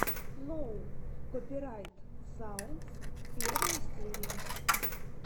ноу копирайт саундс первая серия